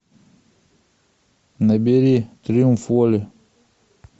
набери триумф воли